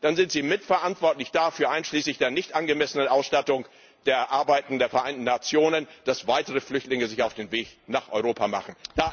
dann sind Sie mitverantwortlich dafür, einschließlich der nicht angemessenen Ausstattung der Arbeiten der Vereinten Nationen, dass sich weitere Flüchtlinge auf den Weg nach Europa machen.